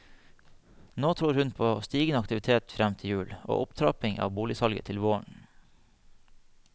Nå tror hun på stigende aktivitet frem til jul og opptrapping av boligsalget til våren.